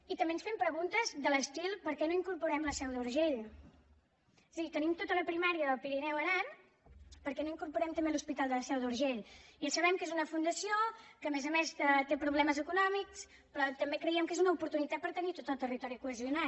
i també ens fem preguntes de l’estil per què no hi incorporem la seu d’urgell és a dir tenim tota la primària del pirineu aran per què no hi incorporem també l’hospital de la seu d’urgell ja sabem que és una fundació que a més a més té problemes econòmics però també creiem que és una oportunitat per tenir tot el territori cohesionat